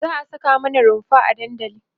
za'a Saka mana runfa a dandali